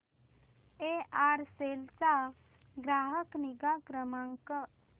Aircel चा ग्राहक निगा क्रमांक